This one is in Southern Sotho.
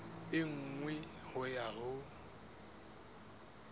e nngwe ho ya ho